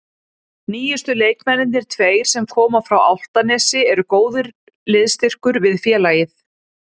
Nýjustu leikmennirnir tveir sem koma frá Álftanesi eru góður liðsstyrkur við félagið.